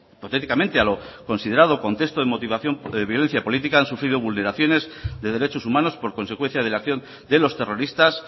hipotéticamente a lo considerado contexto de violencia política han sufrido vulneraciones de derechos humanos por consecuencia de la acción de los terroristas